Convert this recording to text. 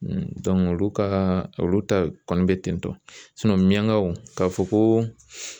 olu ka olu ta kɔni bɛ tentɔ miyangaw k'a fɔ ko